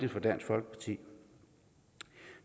jeg